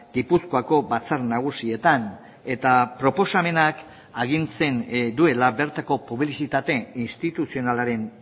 gipuzkoako batzar nagusietan eta proposamenak agintzen duela bertako publizitate instituzionalaren